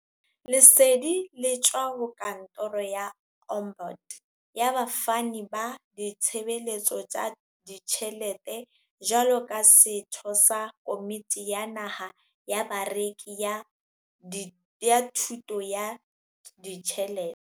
Lesedi le tswa ho Kantoro ya Ombud ya Bafani ba Ditshebeletso tsa Ditjhele te jwalo ka setho sa Komiti ya Naha ya Bareki ya Thu to ya Ditjhelete.